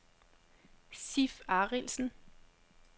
Sif Arildsen